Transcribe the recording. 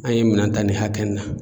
An ye minɛn ta nin hakɛ in na